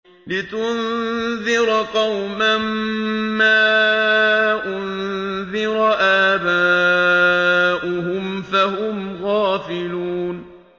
لِتُنذِرَ قَوْمًا مَّا أُنذِرَ آبَاؤُهُمْ فَهُمْ غَافِلُونَ